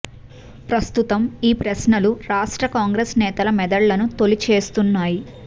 ప్రస్తుతం ఈ ప్రశ్నలు రాష్ట్ర కాంగ్రెస్ నేతల మెదళ్లను తొలిచేస్తున్నాయి